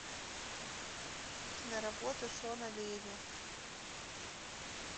киноработа шона леви